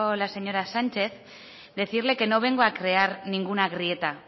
la señora sánchez decirle que no vengo a crear ninguna grieta